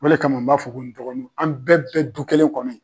O le kama n b'a fɔ ko n dɔgɔninw an bɛɛ bɛ du kelen kɔnɔ.